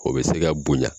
O bɛ se ka bonya